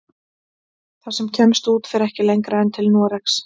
Það sem kemst út fer ekki lengra en til Noregs.